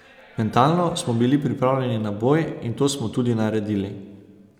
Mentalno smo bili pripravljeni na boj in to smo tudi naredili.